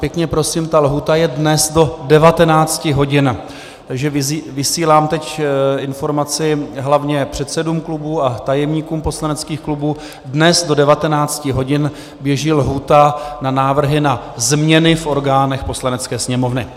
Pěkně prosím, ta lhůta je dnes do 19 hodin, takže vysílám teď informaci hlavně předsedům klubů a tajemníkům poslaneckých klubů: dnes do 19 hodin běží lhůta na návrhy na změny v orgánech Poslanecké sněmovny.